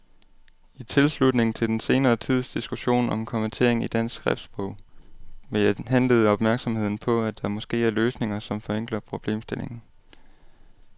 I tilslutning til den senere tids diskussion om kommatering i dansk skriftsprog vil jeg henlede opmærksomheden på, at der måske er løsninger, som forenkler problemstillingen.